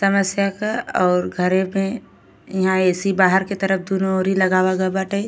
तमस्या क और घरे में इहा ए.सी. बाहर के तरफ दुनो ओरी लगावा गए बाटे।